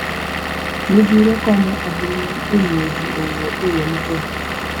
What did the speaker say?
Midhiro konyo ahinya e miyo ji owuo e yo maber.